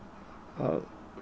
að